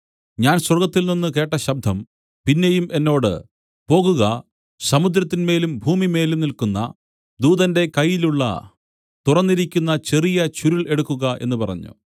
ഞാൻ സ്വർഗ്ഗത്തിൽനിന്നു കേട്ട ശബ്ദം പിന്നെയും എന്നോട് പോകുക സമുദ്രത്തിന്മേലും ഭൂമിമേലും നില്ക്കുന്ന ദൂതന്റെ കയ്യിലുള്ള തുറന്നിരിക്കുന്ന ചെറിയ ചുരുൾ എടുക്കുക എന്ന് പറഞ്ഞു